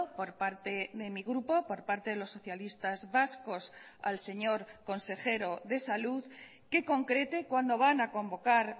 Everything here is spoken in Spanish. por parte de mi grupo por parte de los socialistas vascos al señor consejero de salud que concrete cuándo van a convocar